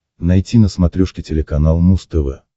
найти на смотрешке телеканал муз тв